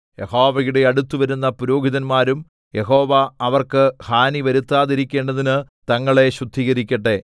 യഹോവയുടെ അടുത്ത് വരുന്ന പുരോഹിതന്മാരും യഹോവ അവർക്ക് ഹാനി വരുത്താതിരിക്കേണ്ടതിന് തങ്ങളെ ശുദ്ധീകരിക്കട്ടെ